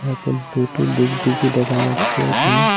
এখন দুইটো ডুগডুগি দেখা যাচ্ছে এখানে।